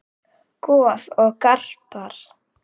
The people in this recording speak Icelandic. Goð og garpar